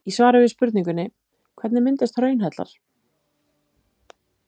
Í svari við spurningunni Hvernig myndast hraunhellar?